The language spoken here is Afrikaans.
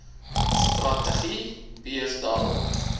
strategie berus daarop